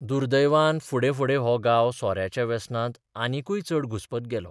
दुर्दैवान फुडें फुडें हो गांव सोऱ्याच्या वेसनांत आनिकूय चड घुस्पत गेलो.